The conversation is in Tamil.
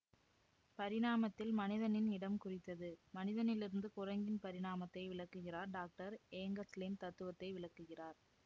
பரிணாமத்தில் மனிதனின் இடம் குறித்தது மனிதனிலிருந்து குரங்கின் பரிணாமத்தை விளக்குகிறார் டாக்டர் ஏங்கல்ஸின் தத்துவத்தை விளக்குகிறார்